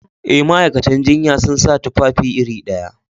A, ma'aikatan jinya sun sa tufafi iri ɗaya